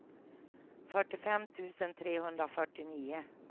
fyrtiofem tusen trehundrafyrtionio